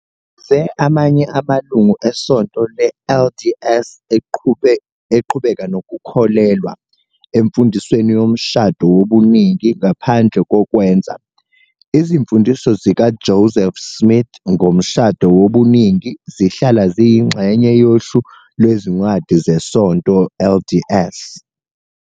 Yize amanye amalungu eSonto le-LDS eqhubeka "nokukholelwa" emfundisweni yomshado wobuningi ngaphandle "kokukwenza", Izimfundiso zikaJoseph Smith ngomshado wobuningi zihlala ziyingxenye yohlu lwezincwadi zeSonto LDS.